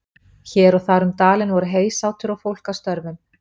Hér og þar um dalinn voru heysátur og fólk að störfum.